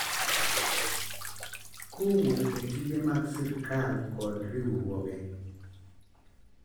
Kowuok e tije mag sirkal kod riwruoge